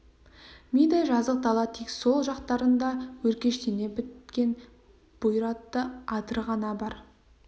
мидай жазық дала тек сол жақтарында өркештене біткен бұйратты адыр ғана бар